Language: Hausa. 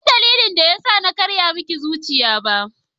Bansan dalilin da yasa na karya miki zuciya ba.